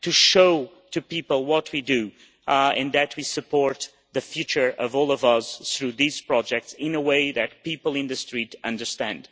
To show people what we do, and that we support the future of all of us through these projects, in a way that people in the street understand.